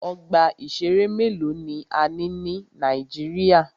Ọgbà ìṣẹ̀rẹ́ mélòó ni a ní ní Nàíjíríà.